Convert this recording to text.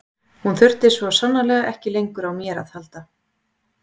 Hún þurfti svo sannarlega ekki lengur á mér að halda.